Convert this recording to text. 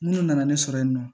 N'u nana ne sɔrɔ yen nɔ